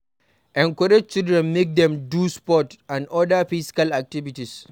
Encourage children make dem do sports and oda physical activities